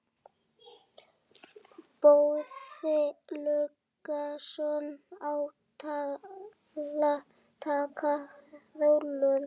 Boði Logason: Að taka rollur?